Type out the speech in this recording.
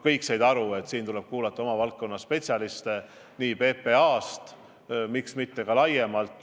Kõik said aru, et selles osas tuleb kuulata oma valdkonna spetsialiste PPA-st ja miks mitte ka laiemalt.